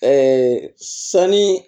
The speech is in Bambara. sanni